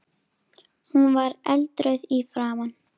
Hún var eldrauð í framan.